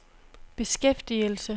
beskæftigelse